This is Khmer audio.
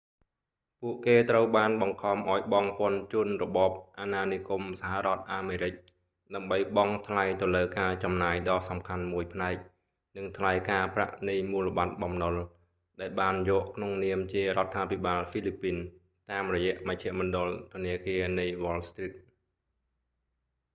ពួកគេត្រូវបានបង្ខំឱ្យបង់ពន្ធជូនរបបអាណានិគមសហរដ្ឋអាមេរិក ដើម្បីបង់ថ្លៃទៅលើការចំណាយដ៏សំខាន់មួយផ្នែក និងថ្លៃការប្រាក់នៃមូលបត្របំណុល ដែលបានយកក្នុងនាមជារដ្ឋាភិបាលហ្វីលីពីន តាមរយៈមជ្ឈមណ្ឌលធនាគារនៃវ៉លស្រ្ទីត wall street